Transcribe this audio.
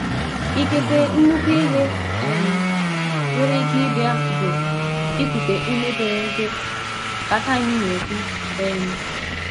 “ Ikekwe nnukwu ihe um nwere ike ịbịa bu ikute ume pere mpe ” ka Time na - ekwu um.